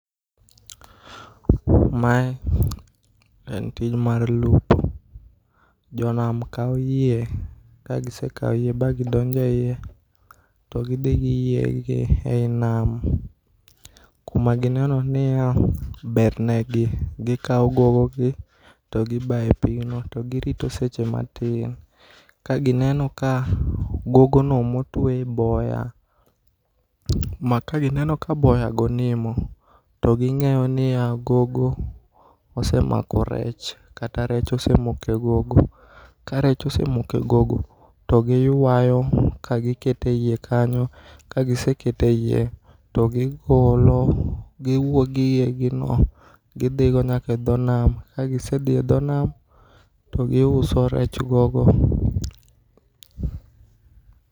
Ma en tich mar lupo, jo nam kawo yie ka gi sekawo yie ba gi donjo e iye to gi dhi gi yie gi e nam ku ma gi neno ni ya ber ne gi .Gi kao gogo gi to gi bayo e pigno to gi rito seche ma tin, ka gi neno ka gogo no ma otwe e boya ma ka gi neno ka boya go nimo, to gi ng'eyo ni ya, gogo osemako rech kata rech osemoko e gogo. To gi ywayo ka gi keto e iye kanyo, ka gi seketo e iye to gi golo gi wuog gi yie gi no to gi dhi nyaka e dho nam ka gi sedhi e dho nam to gi uso rech gogo.